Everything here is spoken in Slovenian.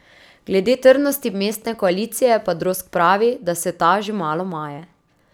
Glede trdnosti mestne koalicije pa Drozg pravi, da se ta že malo maje.